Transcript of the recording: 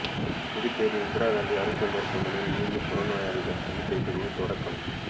புதுச்சேரி இந்திராகாந்தி அரசு மருத்துவமனையில் மீண்டும் புறநோயாளிகள் சிகிச்சை பிரிவு தொடக்கம்